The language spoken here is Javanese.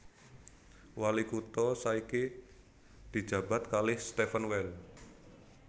Wali kutha saiki dijabat kalih Stephan Weil